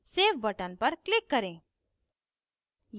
save button पर click करें